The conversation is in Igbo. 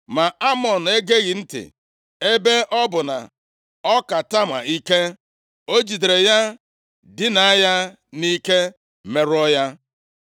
Ma Amnọn egeghị ntị. Ebe ọ bụ na ọ ka Tama ike, o jidere ya dinaa ya nʼike merụọ ya.